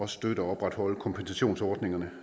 støtte og opretholde kompensationsordningerne